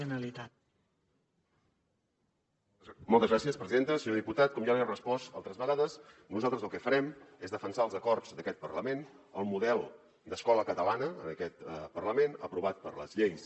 senyor diputat com ja li he respost altres vegades nosaltres el que farem és defensar els acords d’aquest parlament el model d’escola catalana en aquest parlament aprovat per les lleis